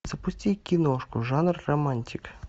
запусти киношку жанр романтика